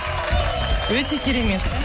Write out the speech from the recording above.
өте керемет